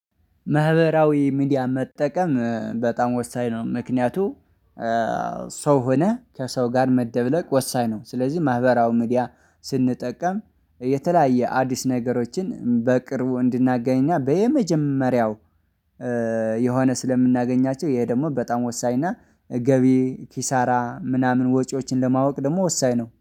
ማህበራዊ ሚዲያ መጠቀም በጣም ወሳኝ ነው ምክንያቱ ሰው ሆነህ ከሰው ጋር መደብለቅ ወሳኝ ነው። ስለዚህ ማህበራዊ ሚዲያ ስንጠቀም የተለያየ አዲስ ነገሮችን በቅርቡ እንድናገኝና በየመጀመሪያው የሆነ ስለምናገኛቸው ይሄ ደግሞ በጣም ወሳኝና እና ገቢ ኪሳራ ምናምን ወጪዎችን ለማወቅ ደግሞ ወሳኝ ነው